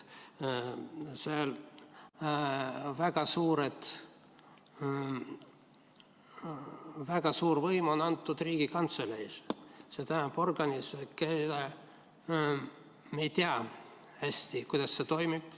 Seal on väga suur võim antud Riigikantseleile, s.t organile, mille puhul me hästi ei tea, kuidas see toimib.